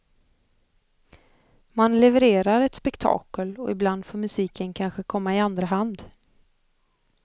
Man levererar ett spektakel och ibland får musiken kanske komma i andra hand.